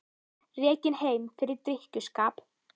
Rekinn heim fyrir drykkjuskap